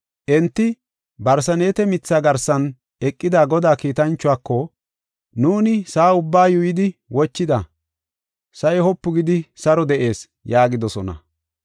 Enti barseneete mithaa garsan eqida Godaa kiitanchuwako, “Nuuni sa7a ubbaa yuuyidi wochida; sa7i wopu gidi saro de7ees” yaagidosona.